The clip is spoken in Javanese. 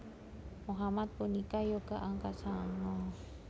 Mohamad punika yoga angka sanga